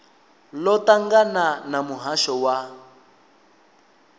ḽo ṱangana na muhasho wa